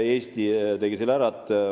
Eesti tegi selle nüüd ära.